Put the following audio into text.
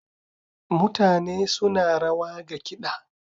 Mutane suna rawa ga kiɗa.